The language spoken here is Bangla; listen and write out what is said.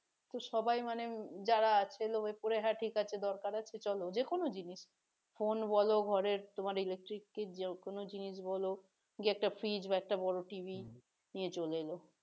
তো সবাই মানে যারা আছে লোভে পড়ে হা ঠিক দরকার আছে চলো যে কোন জিনিস phone বলো ঘরের তোমার electric যে কোন জিনিস বলো গিয়ে একটা fridge বা একটা বড় TV নিয়ে চলে এলো